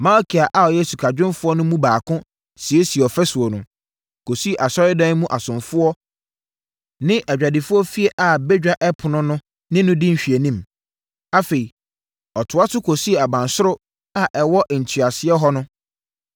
Malkia a ɔyɛ sikadwumfoɔ no mu baako siesiee ɔfasuo no, kɔsii Asɔredan mu asomfoɔ ne adwadifoɔ fie a Badwa Ɛpono no ne no di nhwɛanim. Afei ɔtoa so kɔsii abansoro a ɛwɔ ntweasoɔ hɔ no.